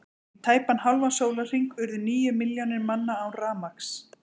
Í tæpan hálfan sólarhring urðu níu milljónir manna án rafmagns.